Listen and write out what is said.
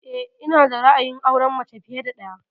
Eh, ina da ra'ayin auren mace fiye da ɗaya